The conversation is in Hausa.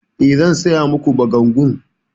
E, zan saya ma ku bagangun.